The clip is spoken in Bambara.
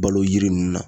Balo yiri ninnu na